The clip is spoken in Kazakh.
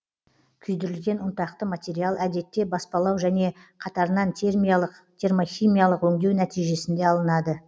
күйдірілген ұнтақты материал әдетте баспалау және қатарынан термиялық термохимиялық өңдеу нәтижесінде алынады